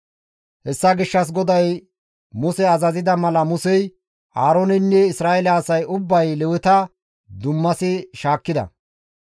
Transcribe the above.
Hessa gishshas GODAY Muse azazida mala Musey, Aarooneynne Isra7eele asay ubbay Leweta dummasi shaakkida.